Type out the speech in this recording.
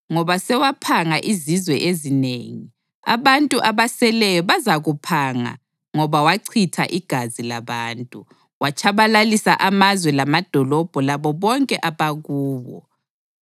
Ngoba sewaphanga izizwe ezinengi, abantu abaseleyo bazakuphanga ngoba wachitha igazi labantu; watshabalalisa amazwe lamadolobho labo bonke abakuwo.